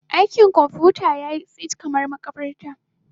Dakin kwamfuta yayi tsit kamar makabarta.